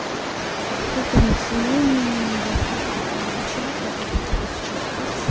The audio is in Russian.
и вот этому всему я бы тоже хотела обучать разрабатываю сейчас курс